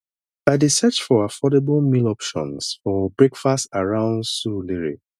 i dey search for affordable meal options for breakfast around surulere